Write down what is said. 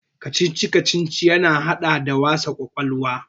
Kacici-kacici ya haɗa da wasan kwakwalwa.